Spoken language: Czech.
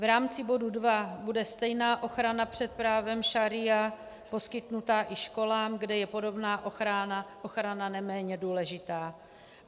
V rámci bodu dva bude stejná ochrana před právem šaría poskytnuta i školám, kde je podobná ochrana neméně důležitá.